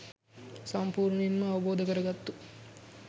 සම්පූර්ණයෙන්ම අවබෝධ කරගත්තු